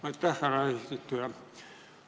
Aitäh, härra eesistuja!